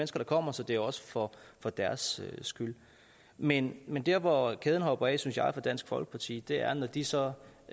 der kommer så det er også for for deres skyld men men der hvor kæden hopper af synes jeg for dansk folkeparti er når de så